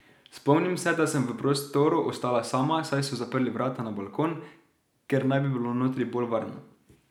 Spomnim se, da sem v prostoru ostala sama, saj so zaprli vrata na balkon, ker naj bi bilo notri bolj varno.